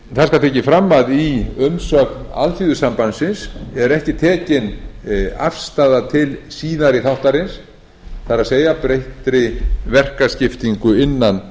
það skal tekið fram að í umsögn alþýðusambandsins er ekki tekin afstaða til síðari þáttarins það er breyttrar verkaskiptingar innan